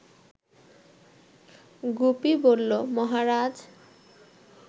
গুপি বলল, মহারাজ